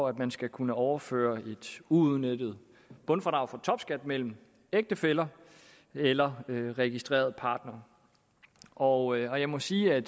at man skal kunne overføre et uudnyttet bundfradrag for topskat mellem ægtefæller eller registrerede partnere og jeg må sige at